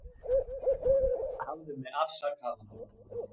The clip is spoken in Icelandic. Hafðu mig afsakaðan